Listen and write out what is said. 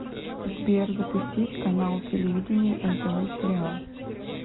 сбер запустить канал телевидения нтв сериал